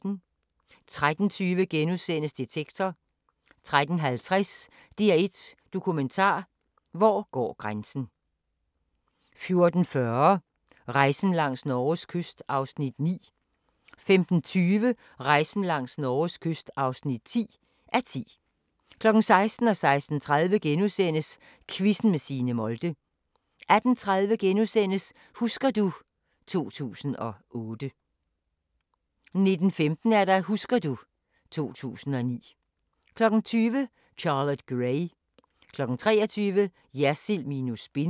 13:20: Detektor * 13:50: DR1 Dokumentar: Hvor går grænsen * 14:40: Rejsen langs Norges kyst (9:10) 15:20: Rejsen langs Norges kyst (10:10) 16:00: Quizzen med Signe Molde * 16:30: Quizzen med Signe Molde * 18:30: Husker du ... 2008 * 19:15: Husker du ... 2009 20:00: Charlotte Gray 23:00: Jersild minus spin